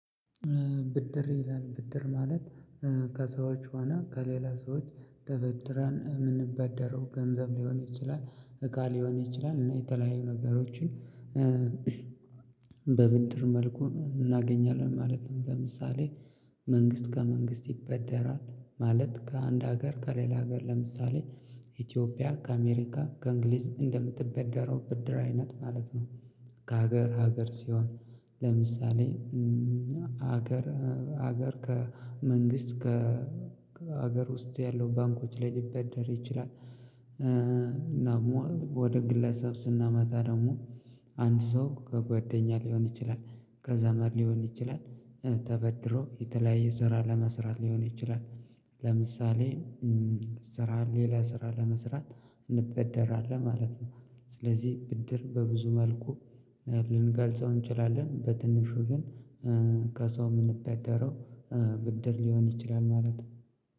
ብድር ይላል ብድር ማለት ከሰዎች ሆና ከሌላ ሰዎች ተበድረን የምንበደረው ገንዘብ ሊሆን ይችላል እቃ ሊሆን ይችላል እና የተለያዩ ነገሮችን። በብንድር መልኩ እናገኛለን ማለትም በምሳሌ መንግስት ከመንግስት ይበደራል ማለት ከአንድ ሀገር ከሌላ ሀገር ለምሳሌ ኢትዮጵያ ከአሜሪካ ከእንግሊዝ እንደምትበደረው ብድር አይነት ማለት ነው። ከሀገር ሀገር ሲሆን ለምሳሌ ሀገር ሀገር ከመንግስት ከሀገር ውስጥ ያለው ባንኮች ላይ ሊበደር ይችላል። ደግሞ ወደ ግለሰብ ስናመጣ ደግሞ አንድ ሰው ከጓደኛ ሊሆን ይችላል ከዛመር ሊሆን ይችላል ተበድሮ የተለያየ ስራ ለመስራት ሊሆን ይችላል ለምሳሌ ስራ ሌላ ስራ ለመስራት እንበደራለን ማለት ነው። ስለዚህ ብድር በብዙ መልኩ ልንጋልጸው እንችላለን በትንሹ ግን ከሳው የምንበደረው ብድር ሊሆን ይችላል ማለት።